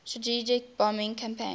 strategic bombing campaign